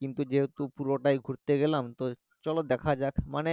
কিন্তু যেহেতু পুরোটাই ঘুরতে গেলাম, চলো দেখা যাক মানে